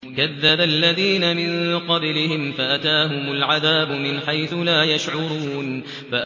كَذَّبَ الَّذِينَ مِن قَبْلِهِمْ فَأَتَاهُمُ الْعَذَابُ مِنْ حَيْثُ لَا يَشْعُرُونَ